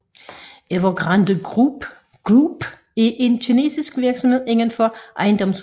Evergrande Group er en kinesisk virksomhed inden for ejendomsudvikling